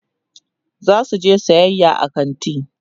zasu je sayayya a kanti